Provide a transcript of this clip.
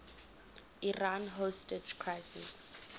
iran hostage crisis